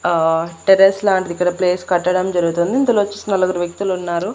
అహ్ టెర్రస్ లాంటిది ఇక్కడ ప్లేస్ కట్టడం జరుగుతుంది ఇందులో వచ్చేసి నలుగురు వ్యక్తులు ఉన్నారు.